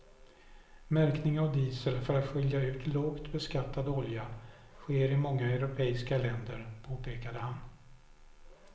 Märkning av diesel för att skilja ut lågt beskattad olja sker i många europeiska länder, påpekar han.